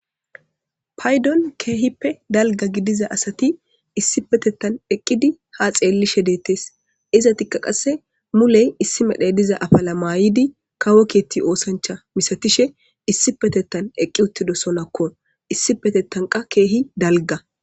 Paydon keehippe dalga gidiza asati issi petetan eqqidi ha xeellishe deettes izatikka qasse muley issi medhe diza afala maayidi kawo kietti oosancha misatishe issi petettan eqqi uttido sonakko issipetetanqa keehi dalga.